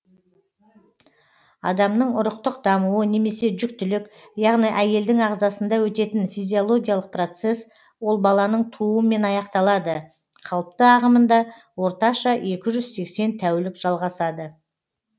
адамның ұрықтық дамуы немесе жүктілік яғни әйелдің ағзасында өтетін физиологиялық процесс ол баланың тууымен аяқталады қалыпты ағымында орташа екі жүз сексен тәулік жалғасады